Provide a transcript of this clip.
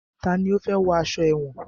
Tani ó fẹ́ wọ aṣọ èwọ̀n?